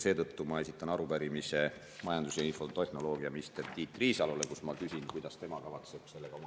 Seetõttu esitan arupärimise majandus‑ ja infotehnoloogiaminister Tiit Riisalole, kus ma küsin, kuidas tema kavatseb sellega oma …